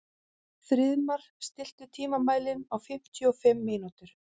Friðmar, stilltu tímamælinn á fimmtíu og fimm mínútur.